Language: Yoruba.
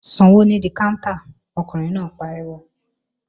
Sanwó nídí káńtà! Ọkùnrin náà pariwo